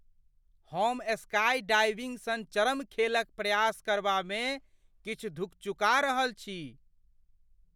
हम स्काईडाइविंग सन चरम खेल क प्रयास करबामे किछु धुकचुका रहल छी।